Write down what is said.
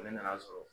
Ne nan'a sɔrɔ